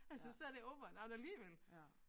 Altså så det over and out alligevel